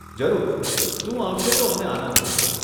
જરૂર, તું આવશે તો અમને આનંદ થશે.